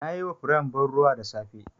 Na yi ma furen ban ruwa da safe.